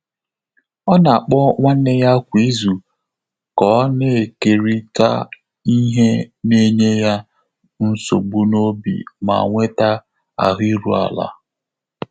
Ọ́ nà-àkpọ́ nwánné yá kwá ízù kà ọ́ nà-ékèrị́tà ìhè nà-ényé yá nsógbú n’óbí mà nwètá áhụ́ íru álá.